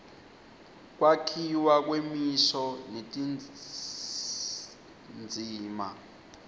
kwakhiwa kwemisho netindzima